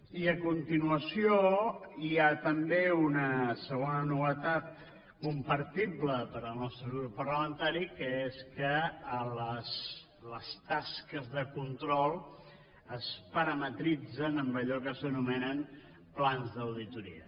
i a continuació hi ha també una segona novetat compartible per al nostre grup parlamentari que és que les tasques de control es parametritzen amb allò que s’anomenen plans d’auditoria